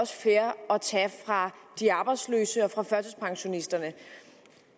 fair at tage fra de arbejdsløse og fra førtidspensionisterne